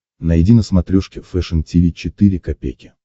найди на смотрешке фэшн ти ви четыре ка